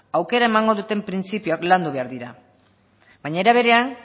aukera emango duten printzipioak landu behar dira baina era berean